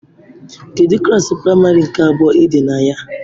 Kedu klasị práịmarị nke abụọ Ị̀dì na ya